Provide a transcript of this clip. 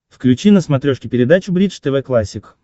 включи на смотрешке передачу бридж тв классик